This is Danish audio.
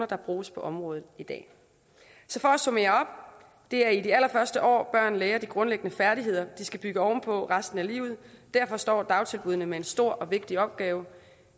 der bruges på området i dag så for at summere det er i de allerførste år børn lærer de grundlæggende færdigheder de skal bygge oven på resten af livet derfor står dagtilbuddene med en stor og vigtig opgave